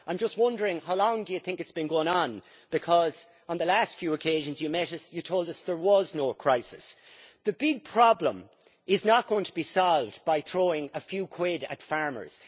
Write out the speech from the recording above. I am just wondering, Commissioner, how long you think it has been going on, because on the last few occasions you met us you told us there was no crisis? The big problem is not going to be solved by throwing a few quid at farmers.